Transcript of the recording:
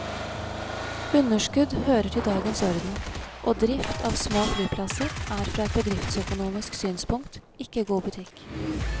Underskudd hører til dagens orden, og drift av små flyplasser er fra et bedriftsøkonomisk synspunkt ikke god butikk.